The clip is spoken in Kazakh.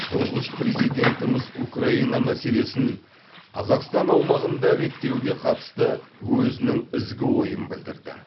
тұңғыш президентіміз украина мәселесін қазақстан аумағында реттеуге қатысты өзінің ізгі ойын білдірді